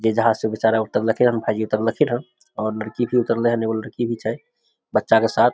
जे जहाज से बेचारा उतरल खिन्ह ये और लड़की भी उतरले हन और एगो लड़की भी छै बच्चा के साथ --